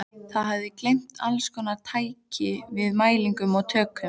Það hafði að geyma allskonar tæki með mælum og tökkum.